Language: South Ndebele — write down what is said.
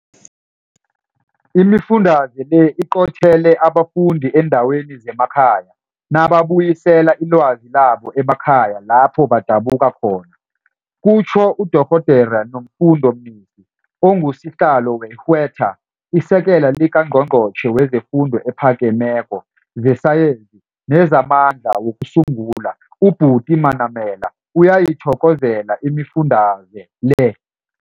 Imifundalize le iqothele abafundi eendaweni zemakhaya, nababuyisela ilwazi labo emakhaya lapho badabuka khona, kutjho uDorhodere Nomfundo Mnisi, onguSihlalo weHWSETA. ISekela likaNgqongqotjhe wezeFundo ePhakemeko, zeSayensi nezaMandla wokuSungula uButi Manamela uyayithokozela imifundalize le.